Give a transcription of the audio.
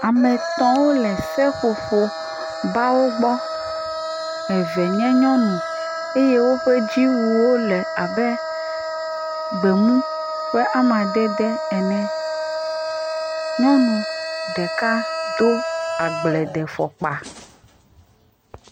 Ame tɔ̃wo le seƒoƒo bawo gbɔ. Eve nye nyɔnu eye woƒe dziwu wo le abe gbemu ƒe amadede ene. Nyɔnu ɖeka do agbledefɔkpa.